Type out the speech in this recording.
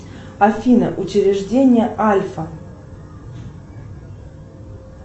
афина учреждение альфа